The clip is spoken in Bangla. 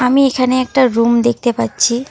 আমি এখানে একটা রুম দেখতে পাচ্ছি।